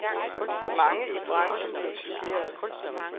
Mange i branchen blev chokerede.